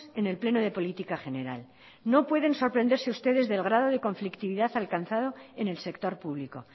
en el pleno de política general no pueden sorprenderse ustedes del grado de conflictividad alcanzado en el sector público